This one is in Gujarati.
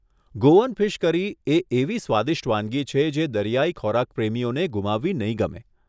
ગોઅન ફીશ કરી એ એવી સ્વાદિષ્ટ વાનગી છે જે દરિયાઈ ખોરાક પ્રેમીઓને ગુમાવવી નહીં ગમે.